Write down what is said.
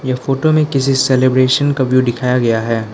यह फोटो में किसी सेलिब्रेशन का व्यू दिखाया गया है।